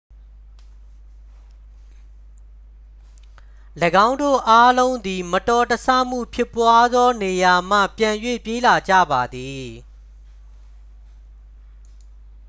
၎င်းတို့အားလုံးသည် မတော်တဆမှုဖြစ်ပွားသောနေရာမှ ပြန်၍ပြေးလာကြပါသည်